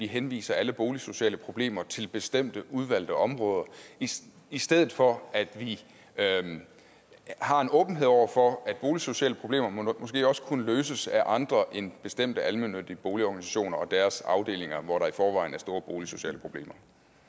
henvise alle boligsociale problemer til bestemte udvalgte områder i stedet for at vi har en åbenhed over for at boligsociale problemer måske også kunne løses af andre end bestemte almennyttige boligorganisationer og deres afdelinger hvor der i forvejen er store boligsociale problemer